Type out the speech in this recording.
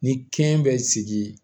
Ni kɛn bɛ sigi